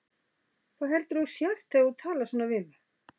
Hver heldurðu að þú sért þegar þú talar svona við mig?